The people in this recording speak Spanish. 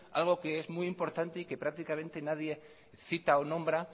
algo que es muy importante y que prácticamente nadie cita o nombra